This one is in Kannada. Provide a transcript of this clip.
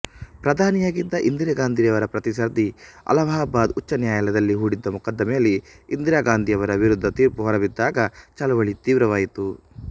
ಪ್ರಧಾನಿಯಾಗಿದ್ದ ಇಂದಿರಾಗಾಂಧಿಯವರ ಪ್ರತಿಸ್ಪರ್ಧಿ ಅಲಹಾಬಾದ್ ಉಚ್ಚನ್ಯಾಯಾಲಯದಲ್ಲಿ ಹೂಡಿದ್ದ ಮೊಕದ್ದಮೆಯಲ್ಲಿ ಇಂದಿರಾಗಾಂಧಿಯವರ ವಿರುದ್ದ ತೀರ್ಪು ಹೊರಬಿದ್ದಾಗ ಚಳುವಳಿ ತೀವ್ರವಾಯಿತು